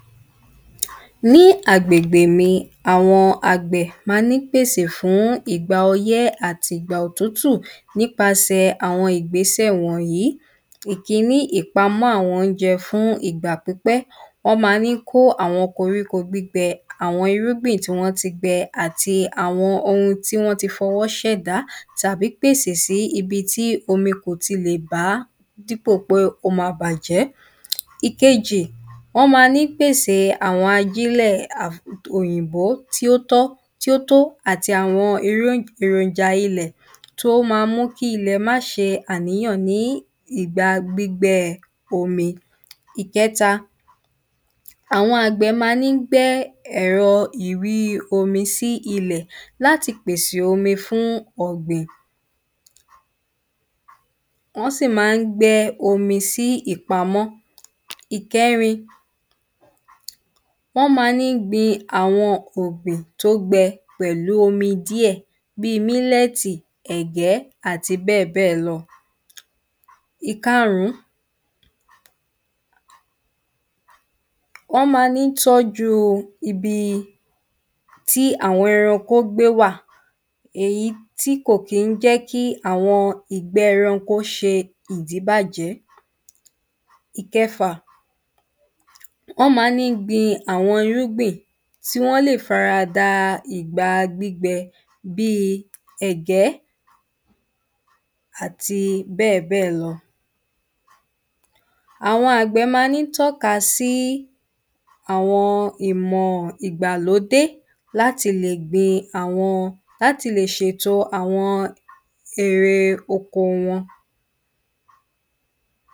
Ní agbègbè mi, àwọn àgbẹ̀ ma ń pèsè fún ìgbà ọyẹ́ àti ìgbà òtútù nípasẹ̀ àwọn ìgbésẹ̀ wọ̀nyí, ìkíní, ìpamọ́ àwọn oúnjẹ fún ìgbà pípẹ́, wọ́n ma ń kó àwọn koríko gbígbẹ àwọn irúgbìn tí wọ́n ti gbe àti àwọn oun tí wọ́n ti f’ọwọ́ ṣ’èdá tàbí pèsè síbi tí omi kò ti lè bà dípo pé, ó ma bàjẹ́. Ìkejì, wọn ma ń pèse àwọn ajínlẹ̀ òyìnbó tí ó tọ́, tí ó tó àti àwọn ìròjà ilẹ̀ tó ma mú kí ilẹ̀ ma ṣe àníyàn ní ìgbà gbígbẹ omi. Ìkẹta, àwọn àgbẹ̀ ma ń gbé ẹ̀rọ ìríi omi sí ilẹ̀ láti pèsè omi fún ọ̀gbìn, wọ́n sì má ń gbé omi sí ìpamọ́. Ìkẹrin, wọ́n ma ń gbin àwọn ọ̀gbìn tó gbe pẹ̀lú omi díẹ̀ bí mílẹ̀tì, ẹ̀gẹ́ àti bẹ́ẹ̀bẹ́ẹ̀ lọ. Ìkaàrún, wọ́n ma ń tọ́ju ibi tí àwọn ẹranko gbé wà, èyí tí kò kín jẹ́ kí àwọn ìgbẹ́ ẹranko ṣe ìdíbàjẹ́. Ìkẹfà, wọ́n ma ń gbin àwọn irúgbìn tí wọ́n lè fara da ìgbà gbígbẹ bí, ẹ̀gẹ́, àti bẹ́ẹ̀bẹ́ẹ̀ lọ. Àwọn àgbẹ̀ ma ń tọ́ka sí àwọn ìmọ̀ ìgbàlódé láti lè gbin àwọn, láti lè ṣètò àwọn erè oko wọn.